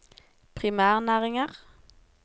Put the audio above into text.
primærnæringer